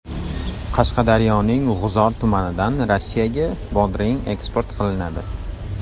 Qashqadaryoning G‘uzor tumanidan Rossiyaga bodring eksport qilinadi.